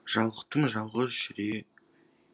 жалықтым жалғыз жүре